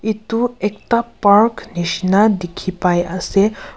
etu ekta park nishina dikhi pai ase.